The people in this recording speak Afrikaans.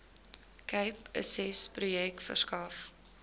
cape accessprojek verskaf